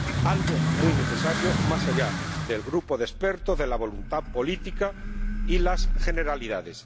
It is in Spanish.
algo muy necesario, más allá del grupo de expertos, de la voluntad política y de las generalidades.